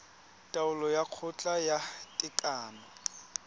taolo ya kgotla ya tekano